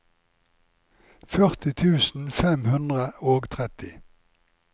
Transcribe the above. førti tusen fem hundre og tretti